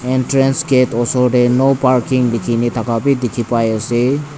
entrance gate tae no parking likhina bi dikhipaiase.